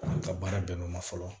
Ka baara bɛn ma fɔlɔ